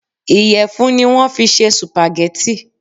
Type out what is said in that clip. Ìyẹ̀fun ni wọ̀n fi ṣe supagẹ́tì.